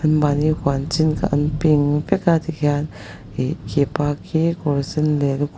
mahni huan chin kha an ping vek a ti khian ihh khipa khi kawr sen leh lukhum--